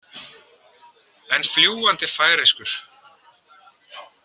En fljúgandi færeyskur.